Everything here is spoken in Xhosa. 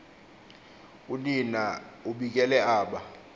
unina ubikele aba